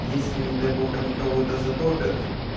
если не дай бог они кого-то затопят